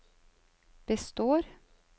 består